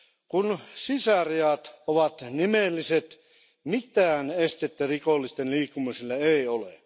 Kun sisärajat ovat nimelliset, mitään estettä rikollisten liikkumiselle ei ole.